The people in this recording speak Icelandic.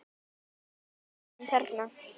Þessum þarna!